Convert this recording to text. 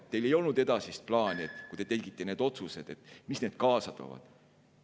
Teil ei olnud edasist plaani, kui te tegite need otsused, ja te ei teadnud, mida need otsused kaasa toovad.